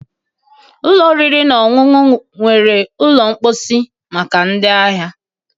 Ụlọ oriri na ọṅụṅụ nwere ụlọ mposi maka ndị ahịa